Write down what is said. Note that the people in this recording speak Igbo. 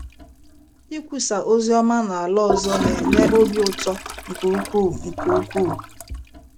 Ikwusa ozi ọma n’ala ọzọ na - enye obi ụtọ nke ukwuu! nke ukwuu!